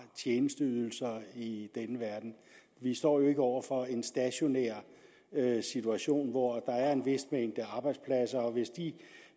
og tjenesteydelser i denne verden vi står jo ikke over for en stationær situation hvor der er en vis mængde arbejdspladser og at hvis de